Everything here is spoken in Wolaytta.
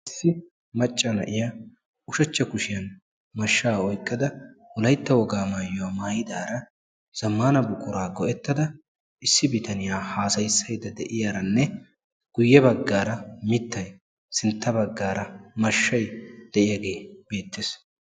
issi macca na'iya ushshachcha kushiyan mashshaa oyqqada wolaytta wogaa maayuwa maayidaara zamaana buquraa go'ettada issi bitaniya haasayissaydda de'iyaranne guyye bagaara mittay sinta bagaara mashshay de'iyagee betees.